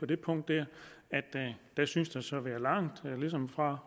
det punkt at der synes at være langt fra